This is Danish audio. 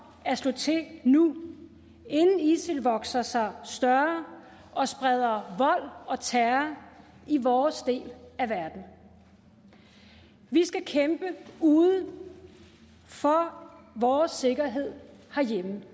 at slå til nu inden isil vokser sig større og spreder vold og terror i vores del af verden vi skal kæmpe ude for vores sikkerhed herhjemme